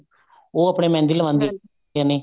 ਉਹ ਆਪਨੇ ਮਹਿੰਦੀ ਲਗਵਾਉਦੀਆਂ ਨੇ